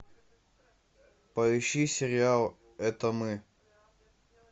поищи сериал это мы